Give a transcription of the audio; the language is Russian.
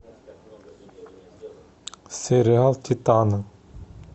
сериал титаны